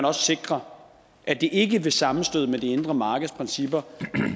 også sikre at det ikke ved sammenstød med det indre markeds principper